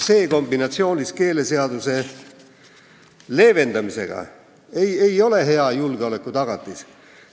See kombinatsioonis keeleseaduse leevendamisega ei ole hea julgeolekutagatis.